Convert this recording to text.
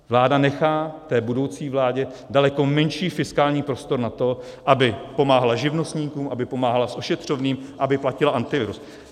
Vláda nechá té budoucí vládě daleko menší fiskální prostor na to, aby pomáhala živnostníkům, aby pomáhala s ošetřovným, aby platila Antivirus.